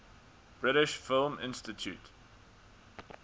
british film institute